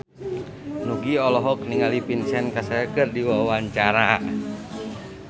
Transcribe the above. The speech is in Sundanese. Nugie olohok ningali Vincent Cassel keur diwawancara